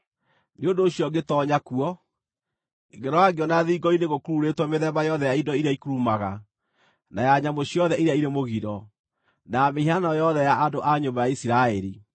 Nĩ ũndũ ũcio ngĩtoonya kuo, ngĩrora ngĩona thingo-inĩ gũkururĩtwo mĩthemba yothe ya indo iria ikurumaga, na ya nyamũ ciothe iria irĩ mũgiro, na ya mĩhianano yothe ya andũ a nyũmba ya Isiraeli.